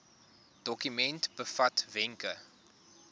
dokument bevat wenke